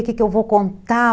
O que que eu vou contar?